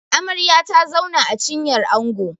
Amarya ta zauna a cinyar Ango